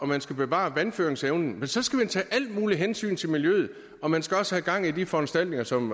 man skal bevare vandføringsevnen så skal man tage alt muligt hensyn til miljøet og man skal også have gang i de foranstaltninger som